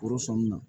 Foro sɔn min na